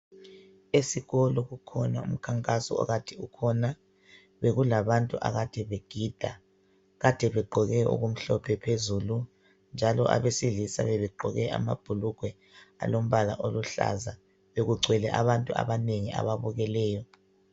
Esikolo kukhona umkhankaso okade ukhona, bekulabantu akade begide kade begqoke okumhlophe phezulu njalo abesilisa bebegqoke amabhulugwe alombala oluhlaza, bekugcwele abantu abanengi ababukeleyo